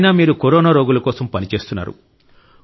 అయినా మీరు కరోనా రోగుల కోసం పని చేస్తున్నారు